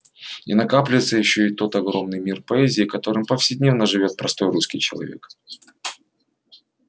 и накапливается ещё и тот огромный мир поэзии которым повседневно живёт простой русский человек